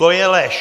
To je lež.